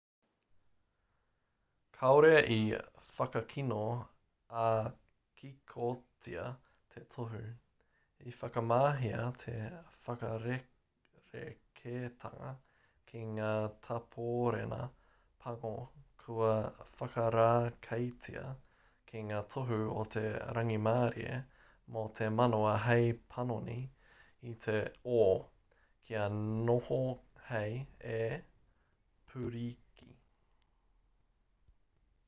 kāore i whakakino ā-kikotia te tohu i whakamahia te whakarerekētanga ki ngā tāpōrena pango kua whakarākeitia ki ngā tohu o te rangimārie me te manawa hei panoni i te o kia noho hei e pūriki